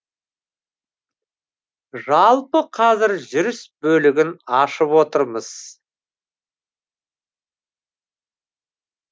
жалпы қазір жүріс бөлігін ашып отырмыз